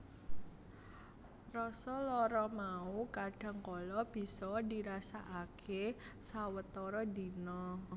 Rasa lara mau kadhang kala bisa dirasakake sawetara dina